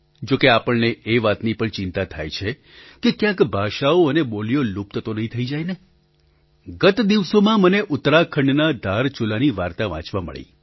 જોકે આપણને એ વાતની પણ ચિંતા થાય છે કે ક્યાંક ભાષાઓ અને બોલીઓ લુપ્ત તો નહીં થઈ જાય ને ગત દિવસોમાં મને ઉત્તરાખંડના ધારચુલાની વાર્તા વાંચવા મળી